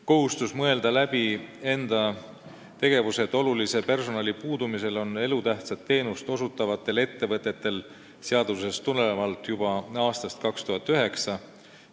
Kohustus mõelda läbi enda tegevus olulise personali puudumise korral on elutähtsat teenust osutavatel ettevõtetel seadusest tulenevalt juba aastast 2009.